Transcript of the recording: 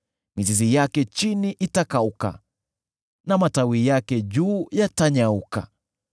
Mizizi yake chini itakauka na matawi yake juu yatanyauka.